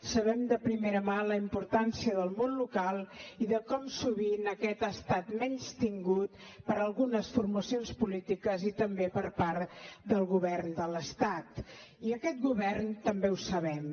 sabem de primera mà la importància del món local i de com sovint aquest ha estat menystingut per algunes formacions polítiques i també per part del govern de l’estat i aquest govern també ho sabem